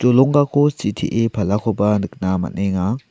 jolonggako sitee palakoba nikna man·enga.